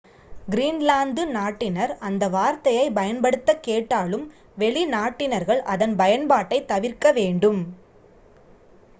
Greenland நாட்டினர் அந்த வார்த்தையைப் பயன்படுத்தக் கேட்டாலும் வெளிநாட்டினர்கள் அதன் பயன்பாட்டைத் தவிர்க்க வேண்டும்